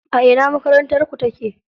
A ina makarantarku take?